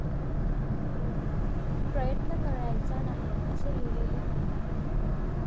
प्रयत्न करायचा नाही असे लिहिलेले नाही.